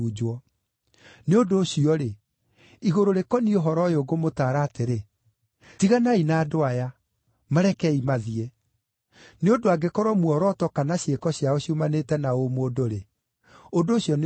Nĩ ũndũ ũcio-rĩ, igũrũ rĩkoniĩ ũhoro ũyũ ngũmũtaara atĩrĩ, tiganai na andũ aya! Marekeei mathiĩ! Nĩ ũndũ angĩkorwo muoroto kana ciĩko ciao ciumanĩte na ũmũndũ-rĩ, ũndũ ũcio nĩũgũthira.